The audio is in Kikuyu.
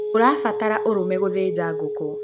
ũrabatara ũrũme gũthĩnja ngũkũ